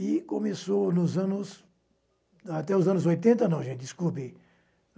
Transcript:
E começou nos anos... Até os anos oitenta não, gente, desculpe.